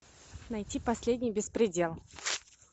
найти последний беспредел